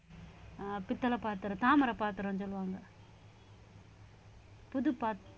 அஹ் பித்தள பாத்திரத்தை தாமிர பாத்திரம்னு சொல்லுவாங்க புதுப்பா~